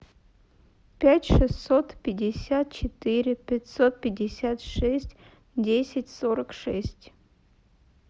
пять шестьсот пятьдесят четыре пятьсот пятьдесят шесть десять сорок шесть